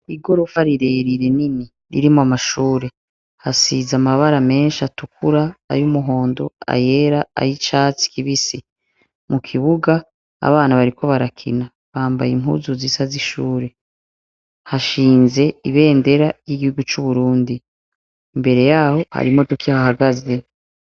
igorofa rirerire nini ririmo amashure hasize amabara menshi atukura ay'umuhondo, ayera, ayicatsi kibisi. Mu kibuga abana bariko barakina bambaye impuzu zisa z'ishure. hashinze ibendera ry'igihugu c'uburundi mbere yaho har'imodoka ihahagaze.